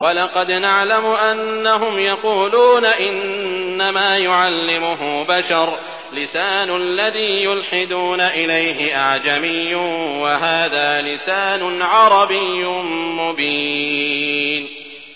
وَلَقَدْ نَعْلَمُ أَنَّهُمْ يَقُولُونَ إِنَّمَا يُعَلِّمُهُ بَشَرٌ ۗ لِّسَانُ الَّذِي يُلْحِدُونَ إِلَيْهِ أَعْجَمِيٌّ وَهَٰذَا لِسَانٌ عَرَبِيٌّ مُّبِينٌ